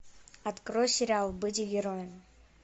открой сериал быть героем